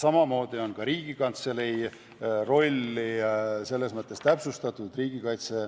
Samamoodi on ka Riigikantselei rolli selles mõttes täpsustatud.